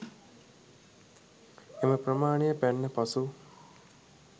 එම ප්‍රමාණය පැන්න පසු